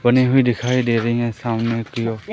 बनी हुई दिखाई दे रही है सामने की ओर--